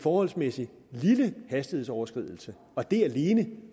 forholdsmæssig lille hastighedsoverskridelse og det alene